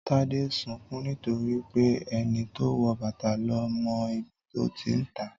Tade ń sunkún nítorí pé ẹni tó wọ bàtà ló mọ ibi tó ti ń ta á